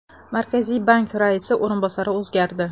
Markaziy bank raisi o‘rinbosari o‘zgardi.